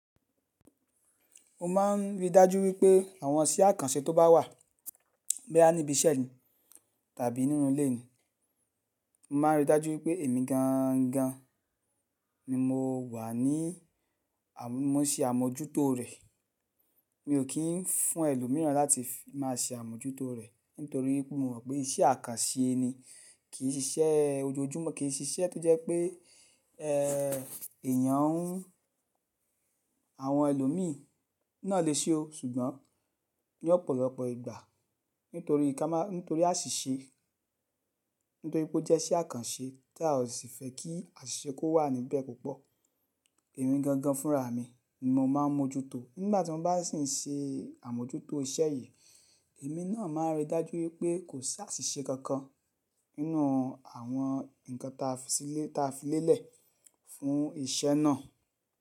Mo máa ń rí i dájú wípé àwọn iṣẹ́ àkànṣe tó bá wà, boya nibi iṣẹ́ mi tàbí nínú ilé mi, mo máa ń rí dájú wípé èmi gangan ni mo wà ní, mo se àmójútó rẹ̀. Miò tun fún ẹlòmíràn láti máa ṣe àmójútó rẹ̀ nítorí wípé mo mọ̀ pé iṣẹ́ àkànṣe ni, kì í ṣe iṣẹ́ ojoojúmọ́, kì í ṣe iṣẹ́ tó jẹ́ pé, ẹ́, èèyàn, àwọn ẹlòmíì náà lè ṣe o. Ṣùgbọ́n ní ọ̀pọ̀lọpọ̀ ìgbà nítorí ká má. Nítorí àṣìṣe, nítorí pé ó jẹ́ iṣẹ́ àkànṣe tí a ò sì fẹ́ kí àṣìṣe kó wà níbẹ̀ púpọ̀. Èmi gangan fúnra mi ni mo máa ń mójútó. Nígbà tí mo bá sì ń ṣe àmójútó iṣẹ́ yì, èmi náà máa ń rí dájú wípé kò sí àṣìṣe kankan nínú àwọn nkan ta fisile tafi filélẹ̀ fún iṣẹ́ náà.